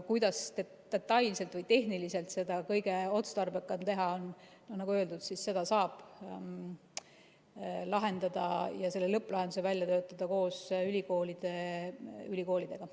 Kuidas detailselt või tehniliselt seda kõige otstarbekam teha on, nagu öeldud, seda saab lahendada ja siin lõpplahenduse välja töötada koos ülikoolidega.